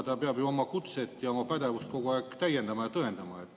Ta peab ju oma kutset ja oma pädevust kogu aeg täiendama ja tõendama.